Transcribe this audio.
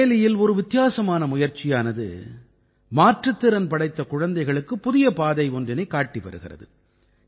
பரேலியில் ஒரு வித்தியாசமான முயற்சியானது மாற்றுத்திறன் படைத்த குழந்தைகளுக்கு புதிய பாதை ஒன்றினைக் காட்டி வருகிறது